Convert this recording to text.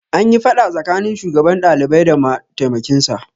Anyi faɗa tsakanin shugaban ɗalibai da mataimkin sa